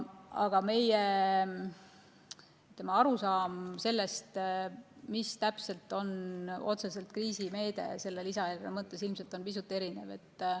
Aga meie arusaam sellest, mis täpselt on otseselt kriisimeede selle lisaeelarve mõttes, on ilmselt pisut erinev.